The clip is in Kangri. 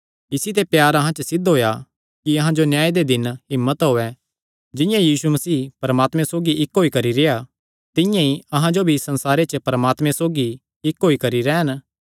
इसी ते प्यार अहां च सिद्ध होएया कि अहां जो न्याय दे दिन हिम्मत होयैं जिंआं यीशु मसीह परमात्मे सौगी इक्क होई करी रेह्आ तिंआं ई अहां जो भी इस संसारे च परमात्मे सौगी इक्क होई करी रैह़न